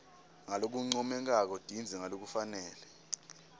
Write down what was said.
ngalokuncomekako tindze ngalokufanele